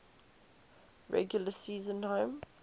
regular season home